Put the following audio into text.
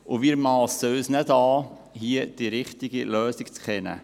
Wir massen uns nicht an, hier die richtige Lösung zu kennen.